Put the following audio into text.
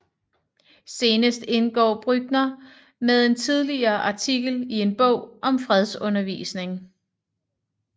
Senest indgår Brückner med en tidligere artikel i en bog om fredsundervisning